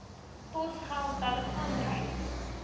posgeld telefoon reis